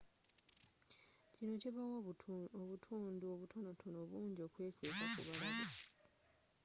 kinno kibawa obutundu obutonotono bungi okwekweeka ku balabe